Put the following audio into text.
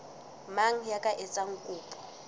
mang ya ka etsang kopo